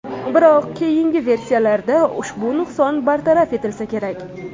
Biroq, keyingi versiyalarda ushbu nuqson bartaraf etilsa kerak.